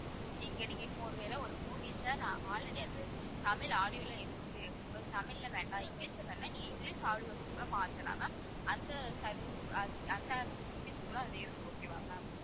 இங்க நீங்க இப்ப ஒருவேளை ஒரு movies அ, நான் already அது தமிழ் audio ல இருக்கு. அது தமிழ்ல வேண்டாம். இங்கிலிஷ்ல வேணும்னா நீங்க இங்கிலிஷ் audio ல கூட மாத்தலாம் ma'am. அந்த service அஹ் அந்த facilities கூட அதுல இருக்கு okay வா ma'am